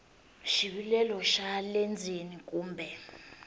xivilelo xa le ndzeni kumbe